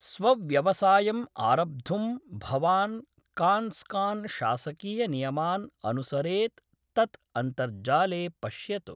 स्वव्यवसायम् आरब्धुं भवान् काँस्कान् शासकीयनियमान् अनुसरेत् तत् अन्तर्जाले पश्यतु।